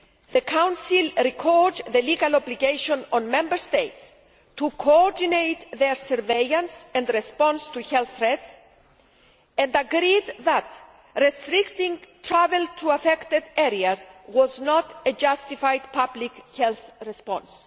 The Council recalled the legal obligation on Member States to coordinate their surveillance and response to health threats, and agreed that restricting travel to affected areas was not a justified public health response.